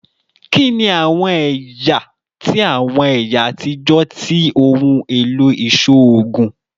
Kini awọn ẹya ti awọn ẹya atijọ ti ohun elo iṣoogun?